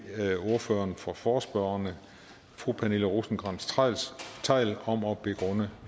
ordføreren for forespørgerne fru pernille rosenkrantz theil om at begrunde